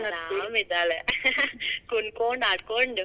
ಅರಾಮಿದಾಳ ಕುಣ್ಕೊಂಡ್, ಆಡ್ಕೊಂಡ್ .